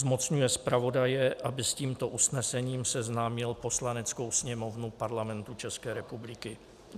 Zmocňuje zpravodaje, aby s tímto usnesením seznámil Poslaneckou sněmovnu Parlamentu České republiky.